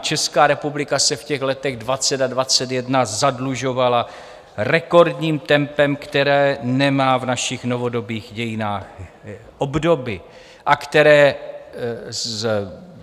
Česká republika se v těch letech 2020 a 2021 zadlužovala rekordním tempem, které nemá v našich novodobých dějinách obdoby a které